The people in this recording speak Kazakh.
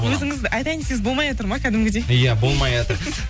өзіңіз айтайын десеңіз болмайатыр ма кәдімгідей иә болмайатыр